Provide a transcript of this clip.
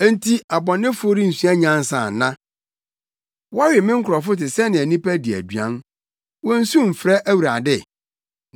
Enti abɔnefo rensua nyansa ana? Wɔwe me nkurɔfo te sɛnea nnipa di aduan. Wonnsu mfrɛ Awurade?